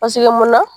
Paseke munna